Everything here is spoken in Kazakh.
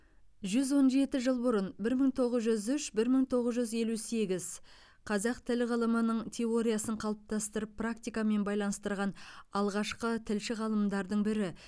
жүз он жеті жыл бұрын бір мың тоғыз жүз үш бір мың тоғыз жүз елу сегіз қазақ тілі ғылымының теориясын қалыптастырып практикамен байланыстырған алғашқы тілші ғалымдардың бірі